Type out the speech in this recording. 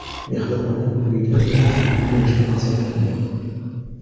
Mehribonlik uyida yana mehmon bo‘lishni maqsad qildim.